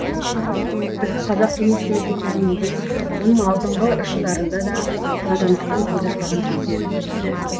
біздің қазақ кеңес үкіметі кезеңінде оның алдыңғы жылдарында да надандықтан көз ашпаған кездер еді